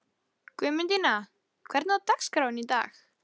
Guðmundína, hvernig er dagskráin í dag?